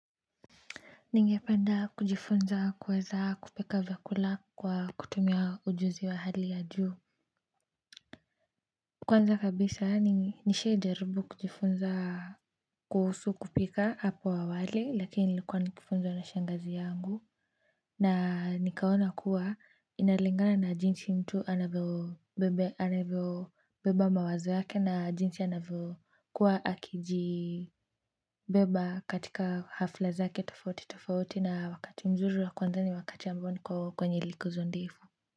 Ningependa kujifunza kuweza kupika vyakula kwa kutumia ujuzi wa hali ya juu kwanza kabisa, nishawaijaribu kujifunza kuhusu kupika hapo awali lakini nilikuwa nikifunzwa na shangazi yangu na nikaona kuwa inalingana na jinsi mtu anavyobeba mawazo yake na jinsi anavyokuwa akiji beba katika hafla zake tofauti tofauti na wakati mzuri wa kuanza ni wakati ambao niko kwenye likizo ndefu.